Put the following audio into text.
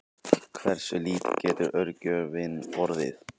hversu lítill getur örgjörvinn orðið